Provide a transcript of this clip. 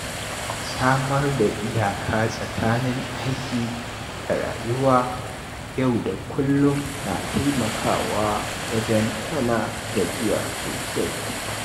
Samar da iyaka tsakanin aiki da rayuwa yau da kullum na taimakawa wajen hana gajiya sosai.